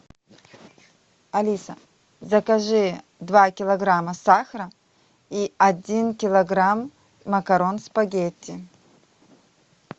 алиса закажи два килограмма сахара и один килограмм макарон спагетти